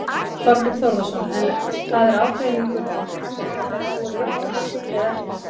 Þorbjörn Þórðarson: En það er ágreiningur í þingflokknum, er búið að jafna hann eða ekki?